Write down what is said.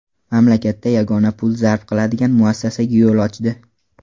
Mamlakatda yagona pul zarb qiladigan muassasaga yo‘l ochdi.